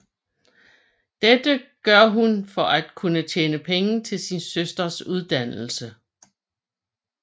Dette gør hun for at kunne tjene penge til sin søsters uddannelse